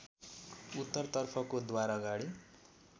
उत्तरतर्फको द्वारअगाडि